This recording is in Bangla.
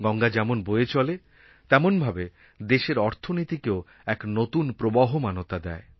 গঙ্গা যেমন বয়ে চলে তেমনভাবে দেশের অর্থনীতিকেও এক নতুন প্রবহমানতা দেয়